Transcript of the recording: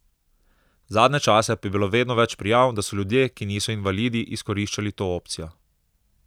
Zadnje čase pa je bilo vedno več prijav, da so ljudje, ki niso invalidi, izkoriščali to opcijo.